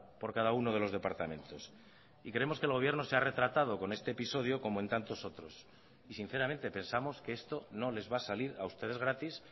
por cada uno de los departamentos y creemos que el gobierno se ha retratado con este episodio como en tantos otros y sinceramente pensamos que esto no les va a salir a ustedes gratis